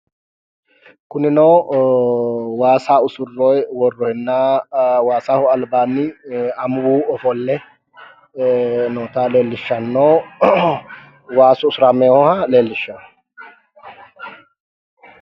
Kunino waasa usurroyi worroyina waasaho albaani amuwu ofolle noota leellishshanno waasu usuramewoha leellishshanno